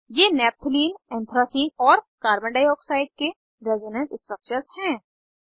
ये naphthalene anthracene और carbon dioxide के रेजोनेंस स्ट्रक्चर्स हैं